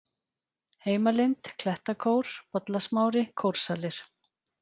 Heimalind, Klettakór, Bollasmári, Kórsalir